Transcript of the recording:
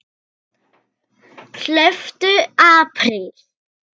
Hlauptu apríl.